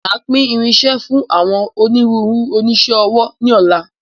Máa pín irinsẹ́ fún àwọn ònírunru onisẹ́ ọwọ́ ni ọ̀la.